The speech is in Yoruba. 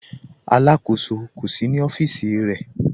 Alákọsọ kò sí ní ọfiíṣì rẹ̀.